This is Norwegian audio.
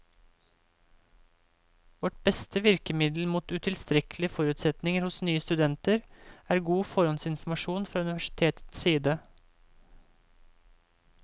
Vårt beste virkemiddel mot utilstrekkelige forutsetninger hos nye studenter er god forhåndsinformasjon fra universitetets side.